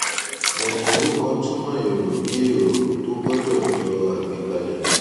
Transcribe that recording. òǹkọwé kan túmọ èrò bí èrò tó gbọdọ jẹ àgbékalẹ